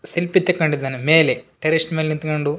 selfie ತೆಕ್ಕಂಡಿದ್ದಾನೆ ಮೇಲೆ terrace ಮೇಲ್ ನಿಂತ್ಕಂಡು --